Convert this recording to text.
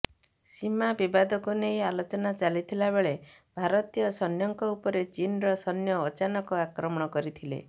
ସୀମା ବିବାଦକୁ ନେଇ ଆଲୋଚନା ଚାଲିଥିବା ବେଳେ ଭାରତୀୟ ସୈନ୍ୟଙ୍କ ଉପରେ ଚୀନର ସୈନ୍ୟ ଅଚାନକ ଆକ୍ରମଣ କରିଥିଲେ